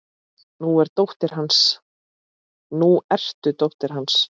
Nú ertu dóttir hans.